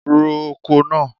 Ro oko náà!